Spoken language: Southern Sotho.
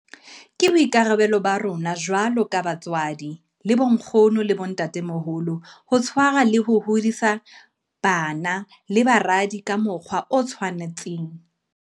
Ke boikarabelo ba rona jwalo ka batswadi le bonkgono le bontatemoholo ho tshwarwa le ho hodisa bara le baradi ka mokgwa o tshwanang.